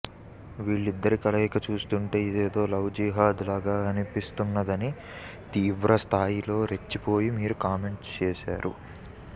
వీళ్లిద్దరి కలయిక చూస్తుంటే ఇదేదో లవ్ జీహాద్ లాగా అనిపిస్తుందది అని తీవ్ర స్థాయిలో రెచ్చిపోయి మరీ కామెంట్స్ చేశారు